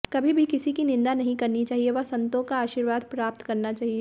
कभी भी किसी की निंदा नहीं करनी चाहिए व संतों का आशीर्वाद प्राप्त करना चाहिए